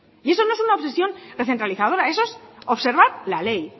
y eso no es una obsesión recentralizadora eso es observar la ley